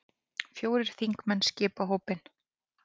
Fjórir þingmenn skipa hópinn.